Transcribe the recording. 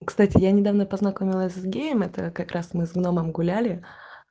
кстати я недавно познакомилась с геем это как раз мы с гномом гуляли